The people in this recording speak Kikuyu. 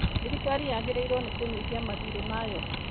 Thirikari yagĩrĩirũo nĩ kũnyihia mathiirĩ mayo.